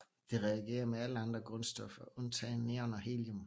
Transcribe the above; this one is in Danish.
Det reagerer med alle andre grundstoffer undtagen neon og helium